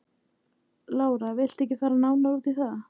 Lára: Viltu ekki fara nánar út í það?